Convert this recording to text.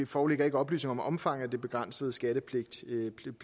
foreligger ikke oplysninger om omfanget af den begrænsede skattepligt